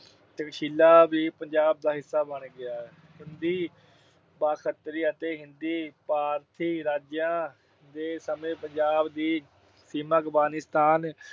ਤਕਸ਼ੀਲਾ ਵੀ ਪੰਜਾਬ ਦਾ ਹਿੱਸਾ ਬਣ ਗਿਆ। ਸਿੰਧੀ, ਬਾਖਤਰੀ ਅਤੇ ਹਿੰਦੀ ਫਾਰਸੀ ਰਾਜਾਂ ਦੇ ਸਮੇਂ ਪੰਜਾਬ ਦੀ ਸੀਮਾ ਅਫਗਾਨਿਸਤਾਨ